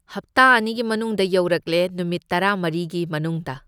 ꯍꯞꯇꯥ ꯑꯅꯤꯒꯤ ꯃꯅꯨꯡꯗ ꯌꯧꯔꯛꯂꯦ, ꯅꯨꯃꯤꯠ ꯇꯥꯔꯃꯔꯤꯒꯤ ꯃꯅꯨꯡꯗ꯫